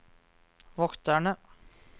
vokterne